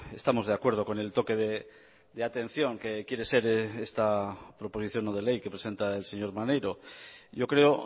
estamos de acuerdo con el toque de atención que quiere ser esta proposición no de ley que presenta el señor maneiro yo creo